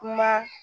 Kuma